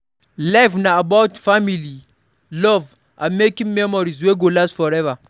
Life na about family, love, and making memories wey go last forever